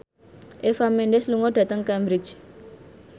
Eva Mendes lunga dhateng Cambridge